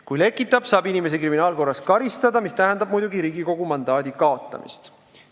Kui lekitatakse, saab inimesi kriminaalkorras karistada, mis tähendab muidugi Riigikogu mandaadi kaotamist.